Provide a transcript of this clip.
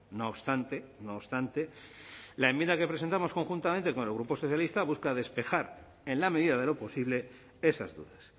no obstante no obstante la enmienda que presentamos conjuntamente con el grupo socialista busca despejar en la medida de lo posible esas dudas